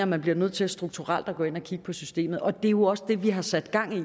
man bliver nødt til strukturelt at gå ind og kigge på systemet og det er jo også det vi har sat gang i